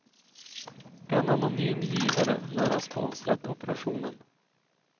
En anonym givare lär ha sponsrat operationen.